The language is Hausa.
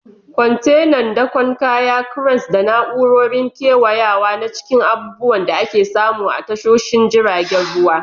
Kwantenan dakon kaya, cranes, da na'urorin kewayawa na cikin abubuwan da ake samu a tashoshin jiragen ruwa.